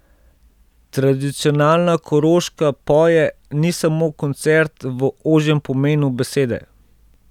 Tradicionalna Koroška poje ni samo koncert v ožjem pomenu besede.